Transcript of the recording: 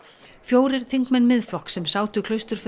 fjórir þingmenn Miðflokks sem sátu